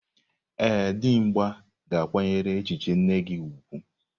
Ee, Dimgba ga-akwanyere echiche nne gi ugwu.